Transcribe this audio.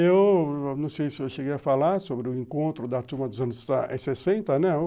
Eu não sei se eu cheguei a falar sobre o encontro da turma dos anos sessenta, né?